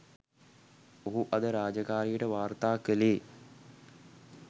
ඔහු අද රාජකාරියට වාර්තා කළේ